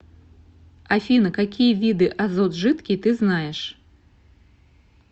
афина какие виды азот жидкий ты знаешь